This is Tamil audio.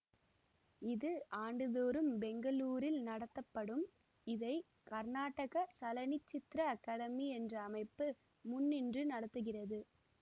இது ஆண்டுதோறும் பெங்களூரில் நடத்தப்படும்இதை கர்நாடக சலனச்சித்ர அகாடமி என்ற அமைப்பு முன்னின்று நடத்துகிறது